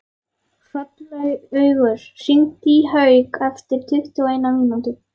Hrollaugur, hringdu í Hauk eftir tuttugu og eina mínútur.